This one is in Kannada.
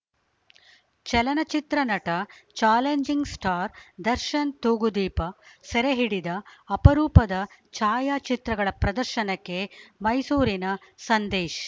ಚಲನಚಿತ್ರ ನಟ ಚಾಲೆಂಜಿಂಗ್‌ ಸ್ಟಾರ್‌ ದರ್ಶನ್‌ ತೂಗುದೀಪ ಸೆರೆಹಿಡಿದ ಅಪರೂಪದ ಛಾಯಾಚಿತ್ರಗಳ ಪ್ರದರ್ಶನಕ್ಕೆ ಮೈಸೂರಿನ ಸಂದೇಶ್‌